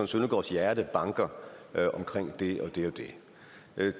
søndergaards hjerte banker for det og det og det